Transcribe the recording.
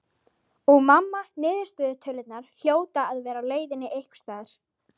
Og mamma niðurstöðutölurnar hljóta að vera á leiðinni einhvers staðar.